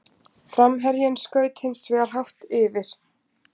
Framherjinn skaut hins vegar hátt yfir.